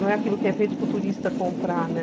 Não é aquilo que é feito para o turista comprar, né?